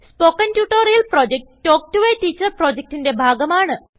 spoken tutorial project talk to a teacher പ്രൊജക്റ്റ്ന്റെ ഭാഗമാണ്